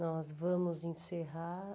Nós vamos encerrar.